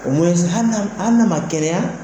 hali n'a ma kɛnɛya